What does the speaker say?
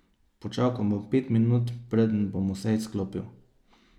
Počakal bom pet minut, preden bom vse izklopil.